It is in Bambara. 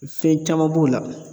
Fɛn caman b'o la